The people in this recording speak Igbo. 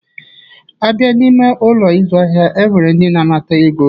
A bịa n'ime Ụlọ ịzụ ahịa, e nwere ndị na-anata ego.